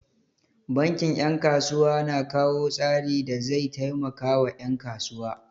Bankin 'yan kasuwa na kawo tsari da zai taimakawa 'yan kuwa.